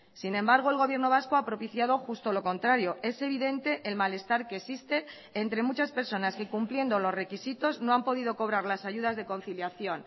sin embargo el gobierno vasco ha propiciado justo lo contrario es evidente el malestar que existe entre muchas personas que cumpliendo los requisitos no han podido cobrar las ayudas de conciliación